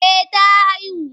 Eh ta haihu.